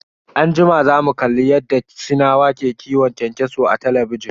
Anjima zamu kalli yadda sinawa ke kiwon kyankyaso a talabijin.